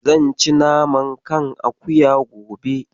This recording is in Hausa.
Zan ci naman kan akuya gobe.